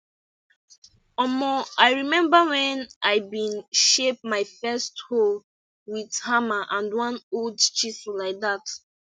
omo i remember wen i been shape my first hoe wit hammer and one old chisel like dat